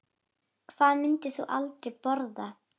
Hvað myndir þú aldrei borða?